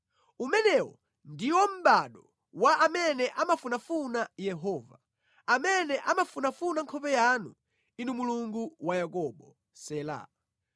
Umenewo ndiwo mʼbado wa amene amafunafuna Yehova; amene amafunafuna nkhope yanu, Inu Mulungu wa Yakobo. Sela